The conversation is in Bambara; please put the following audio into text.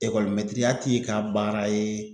Ekɔlimɛtiriya t'i ka baara ye